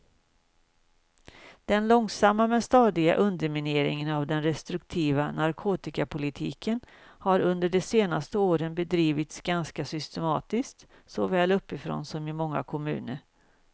Den långsamma men stadiga undermineringen av den restriktiva narkotikapolitiken har under de senaste åren bedrivits ganska systematiskt såväl uppifrån som i många kommuner.